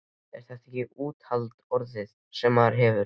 Þetta er ekkert úthald orðið, sem maðurinn hefur!